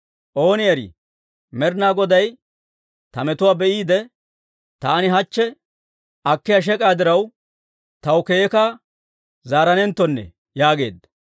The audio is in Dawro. Ooni erii, Med'inaa Goday ta metuwaa be'iide, taani hachche akkiyaa shek'aa diraw taw keeka zaaranenttonne» yaageedda.